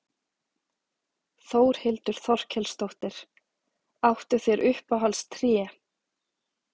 Þórhildur Þorkelsdóttir: Áttu þér uppáhalds tré?